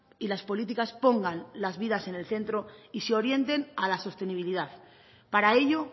y las políticas pongan las vidas en el centro y se orienten a la sostenibilidad para ello